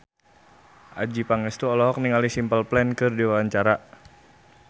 Adjie Pangestu olohok ningali Simple Plan keur diwawancara